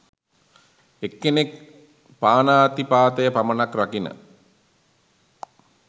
එක්කෙනෙක් පානාතිපාතය පමණක් රකින